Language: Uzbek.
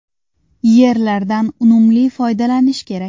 Yerlardan unumli foydalanish kerak.